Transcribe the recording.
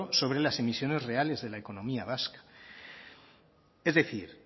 sobre las emisiones reales de la economía vasca es decir